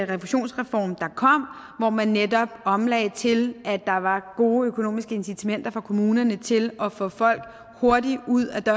refusionsreform der kom hvor man netop omlagde til at der var gode økonomiske incitamenter for kommunerne til at få folk hurtigt ud ad